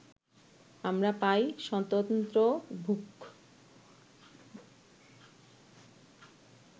আমরা পাই স্বতন্ত্র ভূখ